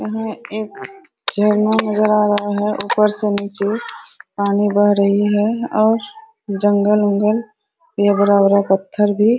यहां एक झरना नजर आ रहा है ऊपर से नीचे पानी बह रही है और जंगल उंगल ये बड़ा-बड़ा पत्थर भी --